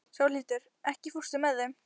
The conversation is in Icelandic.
Sólhildur, ekki fórstu með þeim?